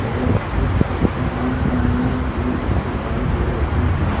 और कुछ चमकीली पन्नी भी दिखाई दे रही हैं।